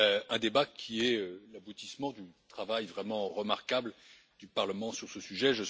Un débat qui est l'aboutissement du travail vraiment remarquable du Parlement sur ce sujet.